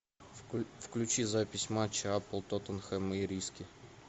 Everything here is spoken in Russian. включи запись матча апл тоттенхэм и ириски